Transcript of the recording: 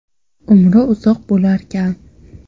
Umri uzoq bo‘larkan.